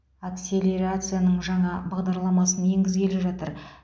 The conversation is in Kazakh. акселерацияның жаңа бағдарламасын енгізгелі жатыр